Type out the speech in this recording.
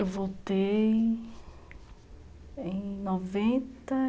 Eu voltei em noventa